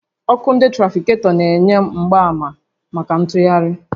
Ọkụ ndị trafiketọ na-enye mgbaàmà màkà ntụgharị